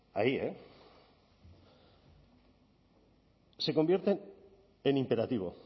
ahí eh se convierten en imperativo